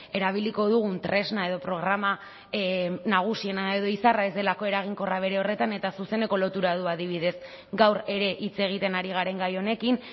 erabiliko dugun tresna edo programa nagusiena edo izarra ez delako eraginkorra bere horretan eta zuzeneko lotura du adibidez gaur ere hitz egiten ari garen gai honekin